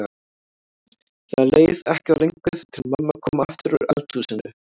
Það leið ekki á löngu þar til mamma kom aftur úr eldhúsinu.